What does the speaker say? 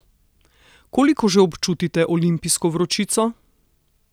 Koliko že občutite olimpijsko vročico?